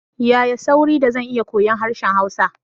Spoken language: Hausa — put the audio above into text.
Yaya sauri da zan iya koyon harshen Hausa?